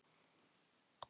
Það hafði liðið yfir hana!